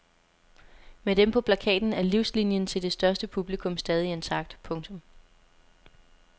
Med dem på plakaten er livslinjen til det største publikum stadig intakt. punktum